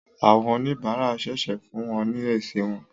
Àwọn oníbàárà ṣẹ̀ṣẹ̀ fún wọn ní èsì wọn